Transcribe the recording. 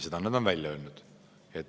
Seda on nad välja öelnud.